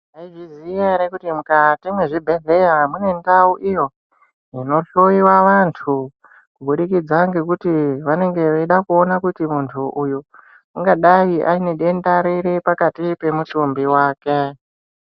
Mwaizviziya ere kuti mukati mwezvibhedhleya munendau iyo inohloiwa vantu kuburikidza ngekuti vanenge veida kuona kuti muntu uyu ungadai aine denda ripi mukati mwemutumbi wake.